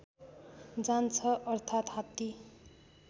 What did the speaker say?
जान्छ अर्थात हात्ती